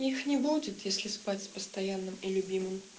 их не будет если спать с постоянным и любимым